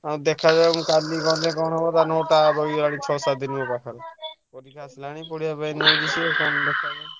ଆଉ ଦେଖାଯାଉ ମୁଁ କାଲି ଗଲେ କଣ ହବ ତା note ଟା ରହିଗଲାଣି ଛଅ ସାତ ଦିନି ମୋ ପାଖରେ ଆସିଲାଣି ।